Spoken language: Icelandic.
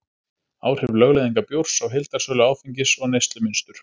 áhrif lögleiðingar bjórs á heildarsölu áfengis og neyslumynstur